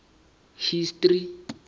history